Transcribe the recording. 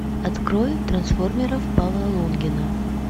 открой трансформеров павла лунгина